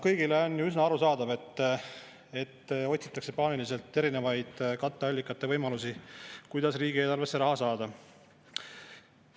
Kõigile on ju üsna arusaadav, et otsitakse paaniliselt erinevaid katteallikate võimalusi, kuidas riigieelarvesse raha saada.